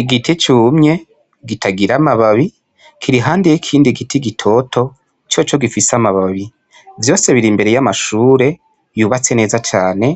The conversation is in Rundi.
Igiti cumye gitagira amababi kirihandiye ikindi giti gitoto co co gifise amababi, vyose biri imbere y'amashure yubatse neza cane